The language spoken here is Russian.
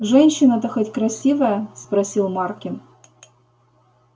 женщина-то хоть красивая спросил маркин